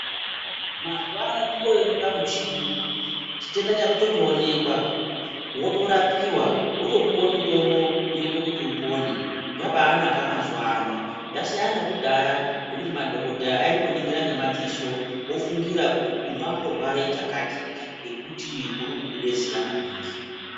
Mazuvano kungoema pamuchini chitenda chako chotoonekwa, wotorapiwa wotopiwe mutombo unoite kuti upone, zvabaanaka mazuva ano. Zvasiyanan nekudhaya ngokuti amweni madhogodheya aingoningira ngemadziso ofungira kuti ungangorware chakati ngekuti urikubude ziya maningi.